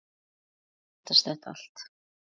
Svo vandist þetta allt.